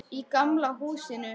Í gamla húsinu.